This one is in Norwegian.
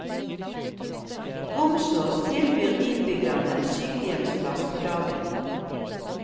Romsås tilbyr innbyggerne sykehjemsplass på dagen.